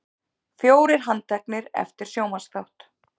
Fjórir handteknir eftir sjónvarpsþátt